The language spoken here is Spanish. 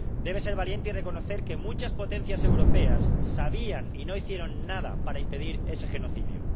Debe ser valiente y reconocer que muchas potencias europeas sabían y no hicieron nada para impedir ese genocidio.